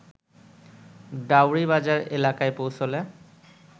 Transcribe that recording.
ডাওরী বাজার এলাকায় পৌঁছলে